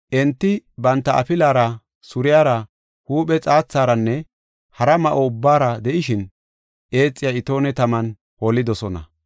Enti banta afilara, suriyara, huuphe xaatharanne hara ma7o ubbaara de7ishin, eexiya itoone taman holidosona.